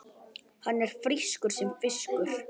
Hann er frískur sem fiskur.